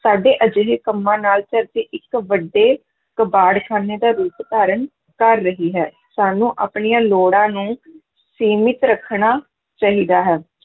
ਸਾਡੇ ਅਜਿਹੇ ਕੰਮਾਂ ਨਾਲ ਧਰਤੀ ਇੱਕ ਵੱਡੇ ਕਬਾੜਖਾਨੇ ਦਾ ਰੂਪ ਧਾਰਨ ਕਰ ਰਹੀ ਹੈ, ਸਾਨੂੰ ਆਪਣੀਆਂ ਲੋੜਾਂ ਨੂੰ ਸੀਮਿਤ ਰੱਖਣਾ ਚਾਹੀਦਾ ਹੈ।